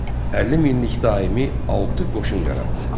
50 minlik daimi altı qoşun yaratdı.